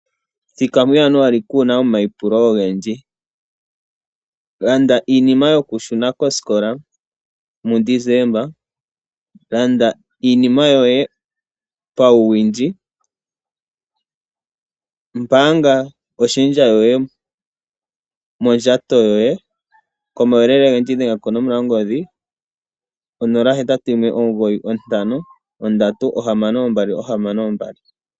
Thika muJanuary kuu na omaipulo ogendji. Landa iinima yokushuna koskola muDesemba. Landa iinima yoye pauwindji. Mbaanga oshendja yoye mondjato yoye. Komauyelele ogendji dhenga konomola yongodhi onola, hetatu, yimwe, omugoyi, ontano, ohamano, ombali, ohamano, ombali.